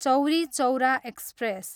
Chauri Chaura express